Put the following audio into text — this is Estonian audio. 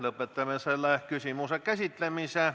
Lõpetame selle küsimuse käsitlemise.